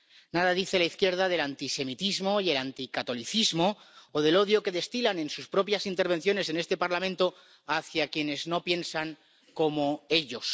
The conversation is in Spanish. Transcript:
Nada dice la izquierda del antisemitismo y el anticatolicismo, o del odio que destilan en sus propias intervenciones en este Parlamento hacia quienes no piensan como ellos.